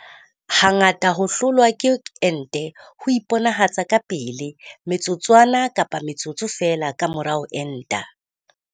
Ha ngata ho hlolwa ke ente ho iponahatsa ka pele me tsotswana kapa metsotso feela ka mora ho enta.